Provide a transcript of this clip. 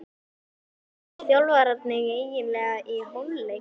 Hvað sögðu þjálfararnir eiginlega í hálfleik?